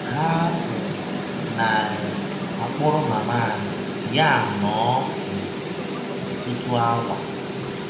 Ha um na um - akpụrụ mama anyị,, ya anọọ um ọtụtụ awa.